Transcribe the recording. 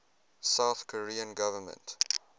south korean government